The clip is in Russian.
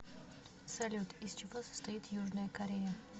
салют из чего состоит южная корея